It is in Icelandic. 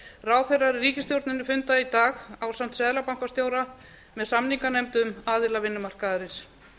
ráðherrar í ríkisstjórninni funda í dag ásamt seðlabankastjóra með samninganefndum aðila vinnumarkaðarins